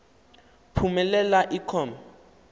phumelela i com